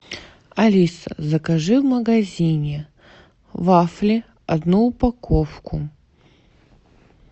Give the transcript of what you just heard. алиса закажи в магазине вафли одну упаковку